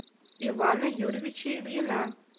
ивана юрьевича ильина